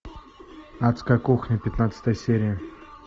адская кухня пятнадцатая серия